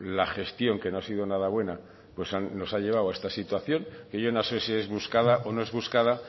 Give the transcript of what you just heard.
la gestión que no ha sido nada buena nos ha llevado a esta situación que yo no sé si es buscada o no es buscada